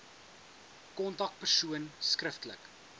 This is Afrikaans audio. kontak persoonlik skriftelik